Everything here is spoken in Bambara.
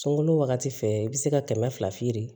Sunkalo wagati fɛ i bɛ se ka kɛmɛ fila firi